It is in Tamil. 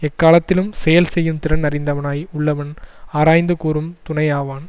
எக்காலத்திலும் செயல் செய்யும் திறன் அறிந்தவனாய் உள்ளவன் ஆராய்ந்து கூறும் துணையாவான்